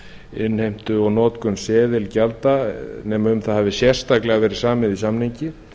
innheimtu og notkun seðilgjalda nema um það hafi sérstaklega verið samið í samningi